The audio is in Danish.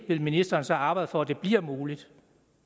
vil ministeren så arbejde for at det bliver muligt